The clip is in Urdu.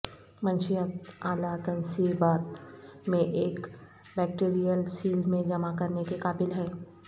منشیات اعلی تنصیبات میں ایک بیکٹیریل سیل میں جمع کرنے کے قابل ہے